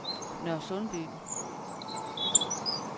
Nørresundby